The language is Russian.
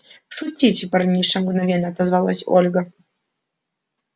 шутите парниша мгновенно отозвалась ольга